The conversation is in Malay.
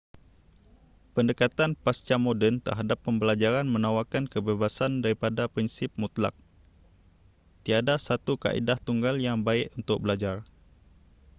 pendekatan pascamoden terhadap pembelajaran menawarkan kebebasan daripada prinsip mutlak tiada satu kaedah tunggal yang baik untuk belajar